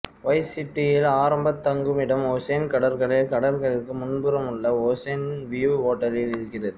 wise சிட்டியில் ஆரம்பத் தங்குமிடம் ஓசென் கடற்கரையில் கடற்கரைக்கு முன்புறமுள்ள ஓசென் வியூ ஹோட்டலில் இருக்கிறது